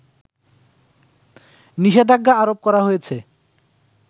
নিষেধাজ্ঞা আরোপ করা হয়েছে